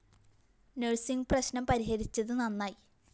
nursing പ്രശ്‌നം പരിഹരിച്ചത് നന്നായി